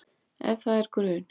Ef það er grun